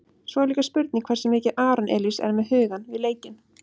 Svo er líka spurning hversu mikið Aron Elís er með hugann við leikinn?